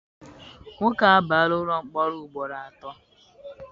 Nwoke a abaala ụlọ mkpọrọ ugboro atọ.